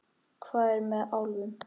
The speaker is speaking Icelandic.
Hvað er með álfum?